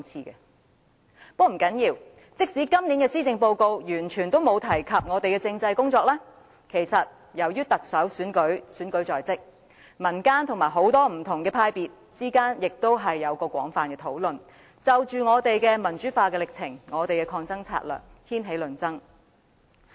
但不要緊，即使今年的施政報告完全沒有提及政制方面的工作，由於特首選舉在即，民間與不同派別之間也有廣泛討論，就着民主化進程和抗爭策略掀起論爭。